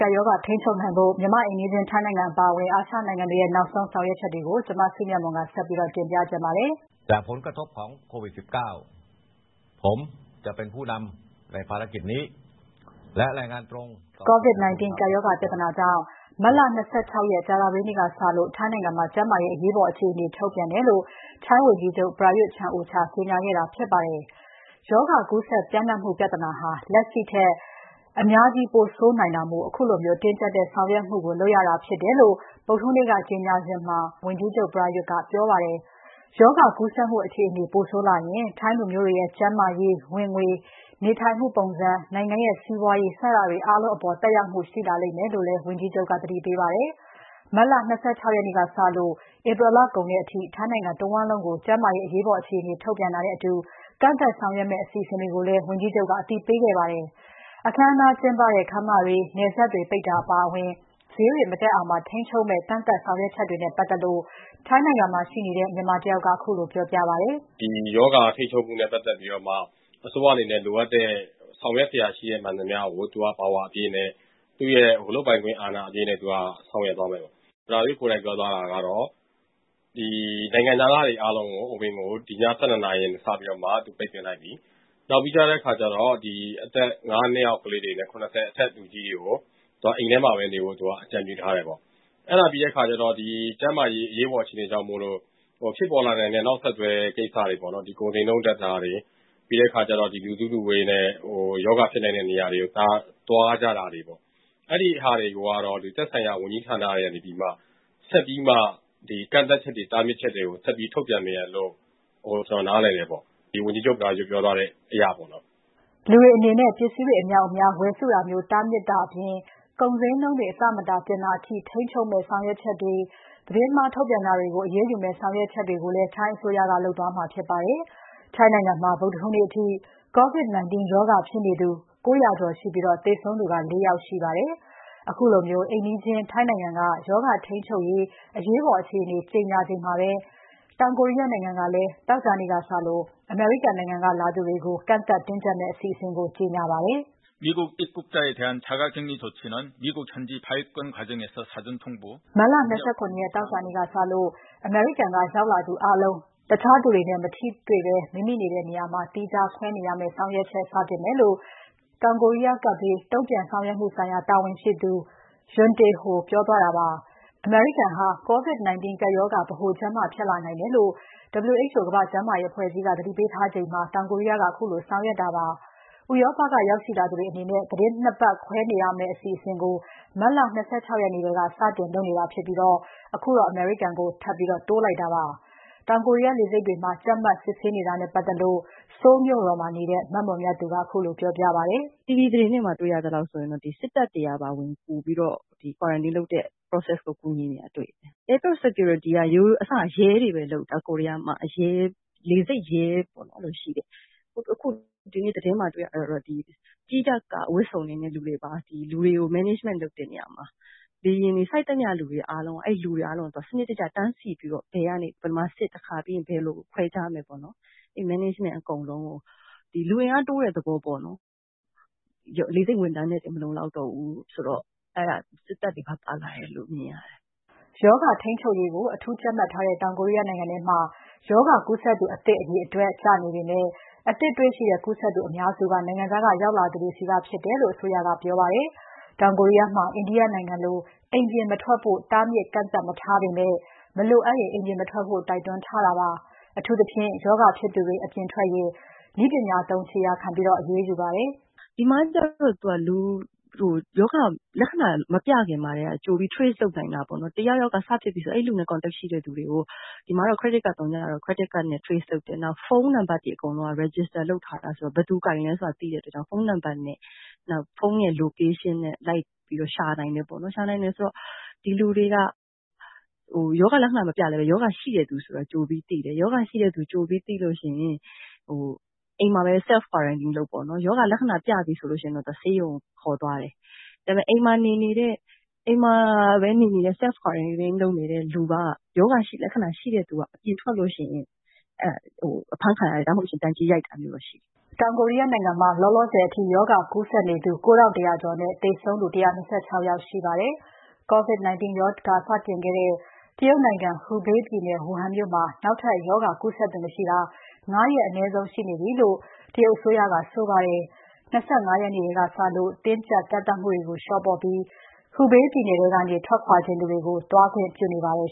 ကပ်ရောဂါထိန်းချုပ်နိုင်ဖို့ မြန်မာ့အိမ်နီးချင်း ထိုင်းနိုင်ငံအပါအဝင် အာရှနိုင်ငံတွေရဲ့ နောက်ဆုံး ဆောင်ရွက်ချက်တွေကို မစုမြတ်မွန်က တင်ပြပါမယ်။ COVID-19 ကပ်ရောဂါပြဿနာကြောင့် မတ်လ ၂၆ ရက် ကြာသပတေးနေ့ကစလို့ ထိုင်းနိုင်ငံမှာ ကျန်းမာရေး အရေးပေါ် အခြေအနေ ထုတ်ပြန်တယ်လို့ ထိုင်းဝန်ကြီးချုပ် Prayuth Chan-ocha က ကြေညာခဲ့တာဖြစ်ပါတယ်။ ရောဂါကူးစက်ပျံ့နှံ့မှုပြဿနာဟာ လက်ရှိထက် အများကြီး ပိုဆိုးလာနိုင်တာမို့ ခုလိုတင်းကြပ်တဲ့ဆောင်ရွက်မှုကို လုပ်ရတာဖြစ်တယ်လို့ ဗုဒ္မဟူးနေ့က ကြေညာစဉ်မှာ ဝန်ကြီးချုပ် Prayuth ကပြောကြားပါတယ်။ ရောဂါကူးစက်မှု အခြေအနေ ပိုးဆိုးလာရင် ထိုင်းလူမျိုးတွေရဲ့ ကျန်းမာရေး၊ ဝင်ငွေအပြင် နေမှုထိုင်ပုံံစံ နိုင်ငံရဲ့ စီးပွားရေး စတာတွေအားလုံးအပေါ် သက်ရောက်မှုရှိလာလိမ့်မယ်လို့လည်း ဝန်ကြီးချုပ်က သတိပေးပါတယ်။ မတ်လ ၂၆ ရက်နေ့စလို့ ဧပြီလကုန်တဲ့အထိ ထိုင်းနိုင်ငံတဝန်းလုံးကို ကျန်းမာရေးအရေးပေါ်အခြေအနေ ထုတ်ပြန်တာနဲ့အတူ ကန့်သတ်ဆောင်ရွက်မယ့် အစီအစဉ်တွေကိုလည်း ဝန်ကြီးချုပ်က အသိပေးခဲ့ပါတယ်။ အခမ်းအနားကျင်ပတဲ့ ခန်းမတွေ၊ နယ်စပ်တွေပိတ်တာအပါအဝင် ဈေးတွေမတက်အောင်ပါ ထိန်းချုပ်မယ့် ကန့်သတ်ဆောင်ရွက်ချက်တွေနဲ့ ပတ်သက်လို့ ထိုင်းနိုင်ငံမှာရှိတဲ့ မြန်မာတယောက် ကခုလိုပြောပြပါတယ်။ “ ဒီရောဂါ ထိန်းချုပ်မှုနဲ့ ပတ်သက်လို့ အစိုးရကနေ လိုအပ်တဲ့ ဆောင်ရွက်စရာရှိတာ မှန်သမျှကို သူ့လုပ်ပိုင်ခွင့် အာဏာအပြည့်နဲ့ ဆောင်ရွက်သွားမယ်။ ဝန်ကြီးချုပ် Prayuth ကိုယ်တိုင်ပြောသွားတာက နိုင်ငံခြားသားတွေ အဝင်ကို ဒီည ၁၂ နာရီကနေ စပြီးတော့ ပိတ်ပင်လိုက်ပြီ။ နောက်ပြီးတော့ အသက် ၅ နှစ်အောက် ကလေးတွေနဲ့ အသက် ၇၀ အထက် လူကြီးတွေကို အိမ်ထဲမှာပဲ နေဖို့ အကြံပြုထားတယ်။ အဲဒါပြီးတဲ့အခါကျတော့ ကျန်းမာရေး အရေးပေါ်အခြေအနေကြောင့်မို့လို့ ဖြစ်ပေါ်လာနိုင်တဲ့ နောက်ဆက်တွဲ ကိစ္စတွေ ကုန်ဈေးနှုန်းပြဿနာတွေ ပြီးတဲ့အခါကျတော့ ဒီလူစုလူဝေးနဲ့ ရောဂါဖြစ်နိုင်တဲ့ နေရာတွေ သွားကြတာတွေပေါ့ ။ အဲဒါတွေတော့ သက်ဆိုင်ရာ ဝန်ကြီးဌာနတွေမှာ ဆက်ပြီး ကန့်သက်ချက်တွေ တားမြစ်ချက်တွေ ဆက်ပြီး ထုတ်ပြန်မယ်လို့ ကျနော်နားလည်တယ်ပေါ့။ ဝန်ကြီးချုပ် Prayuth ကိုယ်တိုင်ပြောသွားတဲ့အရပေါ့နော်။” လူတွေအနေတဲ့ ပစ္စည်းတွေအမြောက်အများဝယ်စုတာမျိုးတားမြစ်တာအပြင် ကုန်ဈေးနှုန်းတွေ မတန်တဆ တင်တာ ထိန်းချုပ်မယ့်ဆောင်ရွက်ချက်တွေ သတင်းမှားထုတ်ပြန်တာတွေကို အရေးယူမယ့် ဆောင်ရွက်ချက်တွေကိုလည်း ထိုင်းအစိုးရက လုပ်သွားမှာဖြစ်ပါတယ်။ ထိုင်ငံနိုင်ငံမှာဗုဒ္မဟူးနေ့အထိ COVID-19 ရောဂါဖြစ်နေသူ ၉ ၀၀ ကျော်ရှ ိပြီးသေဆုံးသူ ၄ ယောက်ရှိပါတယ်။ ခုလိုအိမ်နီးချင်းထိုင်းနိုင်ငံက ရောဂါထိန်းချုပ်ရေး အရေးပေါ် အခြေအနေကြေညာချိန်မှာပဲ တောင်ကိုရီးယားနိုင်ငံကလည်း သောကြာနေ့ကစလို့ အမေရိကန်ကလာသူတွေကို ကန့်သတ်တင်းကြပ်မယ့် အစီအစဉ်ကို ကြေညာပါတယ်။ “မတ်လ ၂၇ ရက် သောကြာနေ့ကစလို့ အမေရိကန်က ရောက်လာသူအားလုံး တခြားသူတွေနဲ့ မထိတွေ့ဘဲ မိမိနေတဲ့နေရာမှာသီးခြားခွဲနေရမယ့် ဆောင်ရွက်ချက်စတင်မယ်” လို့ ကပ်ဘေးတုံ့ပြန်ဆောင်ရွက်မှုဆိုင်ရာ တာဝန်ရှိသူ ယွန်းတေဟို ပြောသွားတာပါ။ အမေရိကန်ဟာ COVID-19 ကပ်ရောဂါဗဟိုချက်မဖြစ်လာနိုင်တယ်လို့ WHO ကမ္ဘာ့ကျန်းမာရေး အဖွဲ့အကြီးအကဲ က သတိပေးထားချိန်မှာ တောင်ကိုရီးယားက ခုလိုဆောင်ရွက်တာဖြစ်ပါ။ ဥရောပက ရောက်ရှိလာသူတွေအနေနဲ့ သီတင်း ၂ ပတ်သွားခွဲနေရမယ့် အစီအစဉ်ကိုမတ်လ ၂၆ ရက်နေ့ထဲက စတင်လုပ်နေတာဖြစ်ပြီး အခုတော့ အမေရိကန်ကို ထပ်တိုးလိုက်တာပါ။ လေဆိပ်တွေမှာ ကြပ်မတ်စစ်ဆေးနေတာနဲ့ပတ်သက်လို့ Seoul မြို့တော်မှာနေတဲ့ မမွန်မြတ်သူက ခုလိုပြောပြပါတယ်။ “TV သတင်းတွေက တွေ့ရသလောက်ဆိုရင်တော့ စစ်တပ်တွေကပါ ဝင်ပြီးတော့ quarantine လုပ်တဲ့ process ကို ဝင်ကူနေတာတွေ့တယ်။ Airport security က အစတုန်းက လေဆိပ် ရဲတွေပဲ လုပ်တာ အခု ဒီနေ့ သတင်းမှာ တွေ့ရတာကတော့ ကြီးတပ်က ဝတ်စုံ တွေနဲ့ လူတွေ management လုပ်တဲ့နေရာမှာ လေယာဉ်ဆိုက်သမျှလူတွေအားလုံးကို စနစ်တကျ တန်းစီပြီးတော့ ဘယ်မှာစစ်မယ်၊ဘယ်လို ခွဲခြားမယ်ပေါ့နော် အဲဒီ management အကုန်လုံးကို လူအင်အား တိုးတဲ့ သဘောပေါ့။ လေဆိပ်ဝန်ထမ်းနဲ့ တင်မလုံလောက်တော့ဘူးဆိုတော့ ဒီက စစ်တပ်တွေပါ ပါလာတယ်လို့ မြင်ရတယ်။” ရောဂါထိန်ချူပ်ရေးကို အထူးကြပ်မတ်ထားတဲ့တောင်ကိုရီးယားနိုင်ငံထဲမှာ ရောဂါကူးစက်သူ အသစ် အရေအတွက် ကျနေပေမဲ့ အသစ်တွေ့ရှိတဲ့ ကူးစက်သူအများစုက နိုင်ငံခြားက ရောက်လာသူတွေဆီက ဖြစ်တယ်လို့ အစိုးရက ပြောပါတယ်။ တောင်ကိုရီးယားမှာ India နိုင်ငံလို အိမ်ပြင်မထွက်ဖို့ တားမြစ်ကန့်သတ် မထားပေမဲ့ မလိုအပ်ရင် အိမ်ပြင်မထွက်ဖို့ တိုက်တွန်းထားတာပါ။ အထူးသဖြင့် ရောဂါဖြစ်နေသူတွေ အပြင်ထွက်ရင် နည်းပညာသုံး ခြေရာခံပြီး အရေးယူပါတယ်။ “ဒီမှာကတော့ လူ ရောဂါလက္ခဏာ မပြခင်မှာကတည်းက ကြိုပြီး Trace လုပ်နိုင်တာပေါ့နော်။ တယောက်ယောက်က စဖြစ်ပြီဆိုရင် အဲဒီလူနဲ့ contact ရှိတဲ့သူတွေကို ဒီမှာက Credit card ရှိတော့ အဲဒါနဲ့ trace လုပ်တယ်။ နောက် ဖုန်းနံပတ်တွေက register လုပ်ထားတာဆိုတော့ ဘယ်သူ ကိုင်သလဲဆိုတာ သိတဲ့အတွက် ဖုန်းနံပတ်နဲ့ ဖုန်း location ကို လိုက်ပြီးတော့ ရှာနိုင်တယ်ပေါ့နော်။ အဲဒါဆိုတော့ ဒီလူ တွေက ရောဂါလက္ခဏာ မပြလဲ ရောဂါရှိတဲ့လူတွေဆိုတော့ ကြိုပြီးသိတယ်။ အဲလို ကြိုသိရင် အိမ်မှာပဲ self quarantine လုပ်ပေါ့နော်။ ရောဂါလက္ခဏာ ပြတယ်ဆိုရင် ဆေးရုံကို ခေါ်သွားတယ်။ အိမ်မှာပဲ self quarantine လုပ်တဲ့သူက အပြင်ထွက်ရင် အဲဒါ အဖမ်းခံရတယ် ဒါမှမဟုတ် ဒဏ်ကြေးရိုက်တာရှိတယ်။” တောင်ကိုရီးယားနိုင်ငံမှာ လောလောဆယ်အထိ ရောဂါကူးစက်နေသူ ၉၁၀၀ ကျော်နဲ့ သေဆုံးသူ ၁၂၆ ယောက်ရှိပါတယ်။ COVID -19 ရောဂါစတင်ခဲ့တဲ့ တရုတ်နိုင်ငံ၊ ဟူဘေးပြည်နယ် ဝူဟန်မြို့မှာ နောက်ထပ်ရောဂါကူးစက်သူမရှိတာ ၅ ရက်အနည်းဆုံးရှိနေပြီလို့ အစိုးရကဆိုပါတယ်။ ၂၅ ရက်နေ့ထဲကစလို့ တင်းကြပ်ကန့်သတ်မှုတွေကို လေ ျှာပေါ့ပြီး ဟူဘေးပြည်နယ်ထဲကနေ ထွက်ခွာချင်သူတွေကို သွားခွင့် ပြုနေပါတယ်